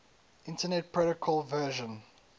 internet protocol version